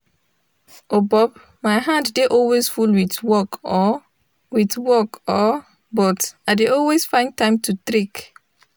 obob my hand dey always full with work oh with work oh but i dey always find time to trick.